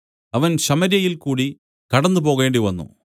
അവൻ ശമര്യയിൽ കൂടി കടന്നുപോകേണ്ടിവന്നു